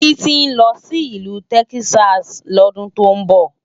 Titi nlò si Ilù Tèkisási lòdùn tó nbò